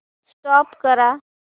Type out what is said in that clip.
stop करा